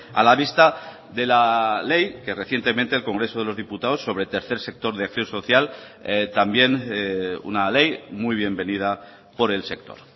a la vista de la ley que recientemente el congreso de los diputados sobre tercer sector de acción social también una ley muy bien venida por el sector